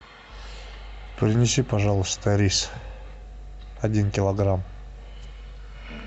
принеси пожалуйста рис один килограмм